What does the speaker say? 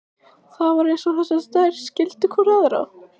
Það var eins og þessar tvær skildu hvor aðra.